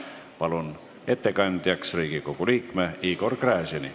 Palun ettekandjaks Riigikogu liikme Igor Gräzini.